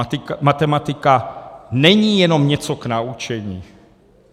A matematika není jenom něco k naučení.